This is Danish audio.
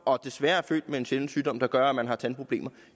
og desværre er født med en sjælden sygdom der gør at man har tandproblemer